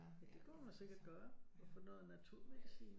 Det kunne man sikkert gøre og få noget naturmedicin